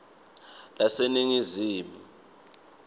laseningizimu